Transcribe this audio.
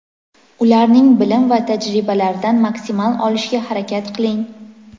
ularning bilim va tajribalaridan maksimal olishga harakat qiling.